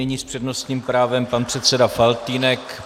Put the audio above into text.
Nyní s přednostním právem pan předseda Faltýnek.